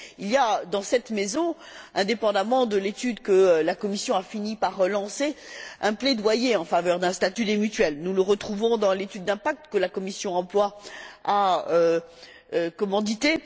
Il y a dans cette Maison, indépendamment de l'étude que la Commission a fini par lancer, un plaidoyer en faveur d'un statut des mutuelles. Nous le retrouvons dans l'étude d'impact que la commission de l'emploi et des affaires sociales a commanditée.